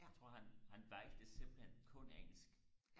jeg tror han han valgte simpelthen kun engelsk